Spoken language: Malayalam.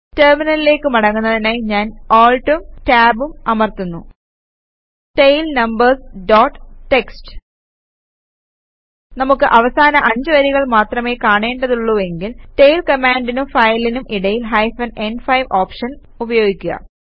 ടെർമിനലിലേക്ക് മടങ്ങുന്നതിനായി ഞാൻ ALTഉം Tabഉം അമർത്തുന്നു ടെയിൽ നമ്പേര്സ് ഡോട്ട് ടിഎക്സ്ടി നമുക്ക് അവസാന 5 വരികൾ മാത്രമേ കാണേണ്ടതുള്ളൂവെങ്കിൽ ടെയിൽ കമാൻഡിനും ഫയലിനും ഇടയിൽ ഹൈഫൻ ന്5 ഓപ്ഷൻ ഉപയോഗിക്കുക